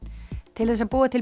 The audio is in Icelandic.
til þess að búa til